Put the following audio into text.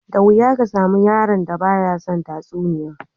Da wuya ka samu yaron da ba ya son tatsuniyoyi